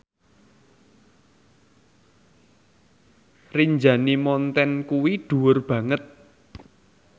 Rinjani Mountain iku dhuwur banget